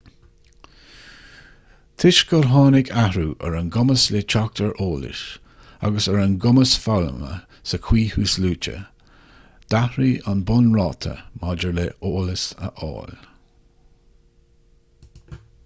toisc gur tháinig athrú ar an gcumas le teacht ar eolas agus ar an gcumas foghlamtha sa chaoi thuasluaite d'athraigh an bunráta maidir le heolas a fháil